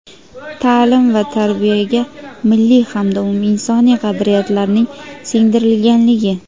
ta’lim va tarbiyaga milliy hamda umuminsoniy qadriyatlarning singdirilganligi;.